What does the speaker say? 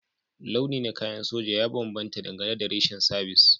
Launi na kayan soja ya bambanta dangane da reshen sabis